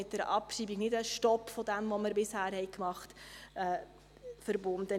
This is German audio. Mit der Abschreibung ist nicht einfach ein Stopp verbunden von dem, was wir bisher getan haben.